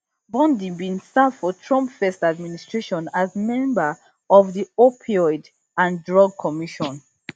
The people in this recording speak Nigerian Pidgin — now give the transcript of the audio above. bondi bin serve for trump first administration as member of di opioid and drug commision